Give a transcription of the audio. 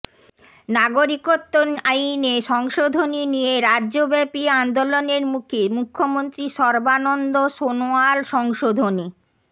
নাগরিকত্ব আইনে সংশোধনী নিয়ে রাজ্যব্যাপী আন্দোলনের মুখে মুখ্যমন্ত্রী সর্বানন্দ সোনোয়াল সংশোধনী